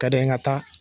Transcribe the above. Ka di n ye n ka taa